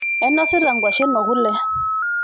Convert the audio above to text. Ainosita nkwashen okule.